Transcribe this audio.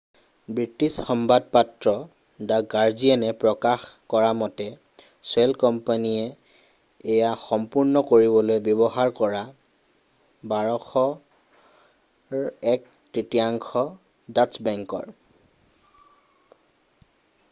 British সংবাদপত্ৰ the গাৰ্ডিয়ানে প্ৰকাশ কৰামতে শ্বেল কোম্পানীয়ে এয়া সম্পূৰ্ণ কৰিবলৈ ব্যৱহাৰ কৰা 1,200ৰ এক তৃতীয়াংশ ডাচ্চ বেংকৰ